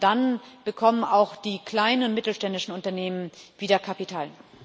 Und dann bekommen auch die kleinen und mittelständischen Unternehmen wieder Kapital.